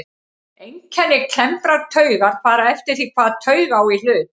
Einkenni klemmdrar taugar fara eftir því hvaða taug á í hlut.